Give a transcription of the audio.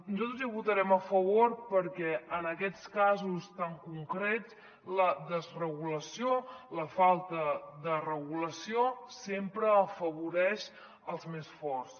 nosaltres hi votarem a favor perquè en aquests casos tan concrets la desregulació la falta de regulació sempre afavoreix els més forts